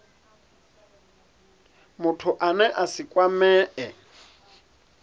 muthu ane a si kwamee